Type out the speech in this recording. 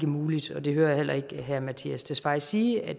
muligt og det hører jeg heller ikke herre mattias tesfaye sige at